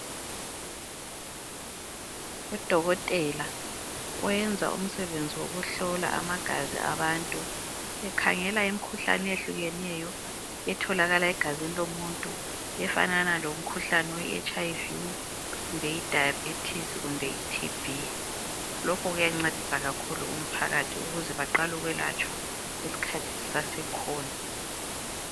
Udokotela oyenza umsebenzi wokuhlola amagazi abantu ekhangela imikhuhlane eyehlukeneyo etholakala egazini lomuntu efanana lomkhuhlane we HIV kumbe idayibhethisi kumbe iTB, lokhu kuyancedisa kakhulu umphakathi ukuze beqale ukuyelatshwa isikhathi sisasekhona.